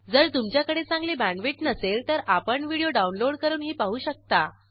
जर तुमच्याकडे चांगली बॅण्डविड्थ नसेल तर आपण व्हिडिओ डाउनलोड करूनही पाहू शकता